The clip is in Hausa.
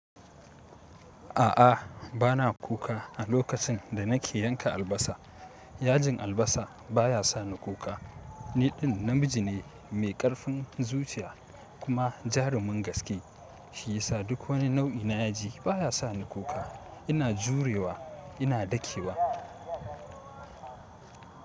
A'a bana kuka a lokacin da nake yanka albasa. Yajin albasa baya sa ni kuka. Niɗin namiji ne mai ƙarfin zuciya kuma jarumin gaske, shi yi sa duk wani nau'i na yaji baya sa ni kuka. Ina jurewa, ina dakewa.